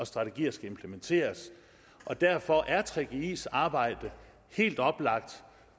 strategier skal implementeres derfor er gggis arbejde helt oplagt